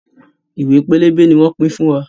Ìwé pélébé ni wọn pin fún wa.